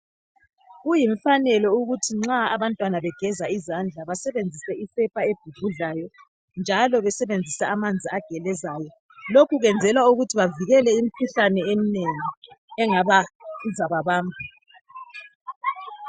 Kuyimfanelo ukuthi nxa abantwana begeza izandla basebenzise isepa ebhubhudlayo njalo basebenzise amanzi agelezayo. Lokhu kwenzelwa ukuthi bavikele imkhuhlane eminengi engazaba bamba.